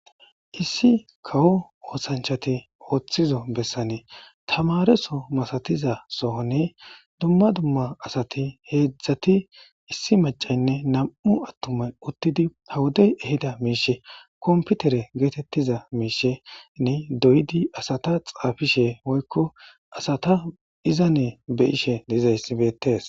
issi kawo oosanchati ooththizo bessane tamareso masatiza sohonne dumma dumma asati heedzdzati issi macaynne nam7u attume uttidi hawudey ehida miishe komputere geetettiza miishenne doyidi asata xaafishe moykko asata izanne beyishe diizayssibeetes